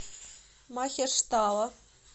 махештала